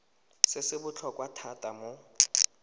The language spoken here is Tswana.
se se botlhokwa thata mo